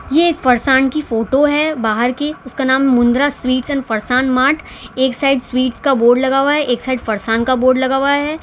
ये फरसान की फोटो है बाहर की उसका नाम मुंद्रा स्वीट्स एंड मार्ट एक साइड स्वीट का बोर्ड लगा हुआ है एक साइड फरसान का बोर्ड लगा हुआ है।